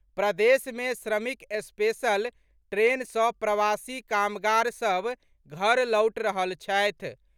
प्रदेश मे श्रमिक स्पेशल ट्रेन सँ प्रवासी कामगार सभ घर लौटि रहल छथि।